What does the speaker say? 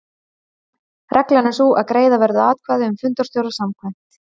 Reglan er sú að greiða verður atkvæði um fundarstjóra samkvæmt